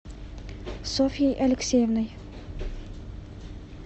софьей алексеевной